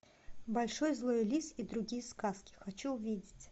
большой злой лис и другие сказки хочу увидеть